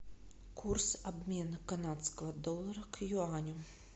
курс обмена канадского доллара к юаню